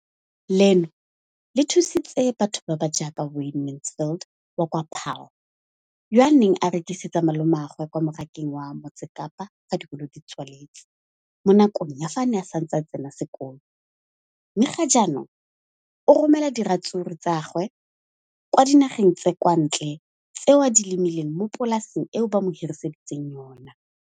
Leno le thusitse batho ba ba jaaka Wayne Mansfield, 33, wa kwa Paarl, yo a neng a rekisetsa malomagwe kwa Marakeng wa Motsekapa fa dikolo di tswaletse, mo nakong ya fa a ne a santse a tsena sekolo, mme ga jaanong o romela diratsuru tsa gagwe kwa dinageng tsa kwa ntle tseo a di lemileng mo polaseng eo ba mo hiriseditseng yona.